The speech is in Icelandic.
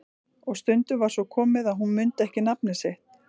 Og stundum var svo komið að hún mundi ekki nafnið sitt.